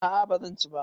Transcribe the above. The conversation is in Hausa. A'a bazan ci ba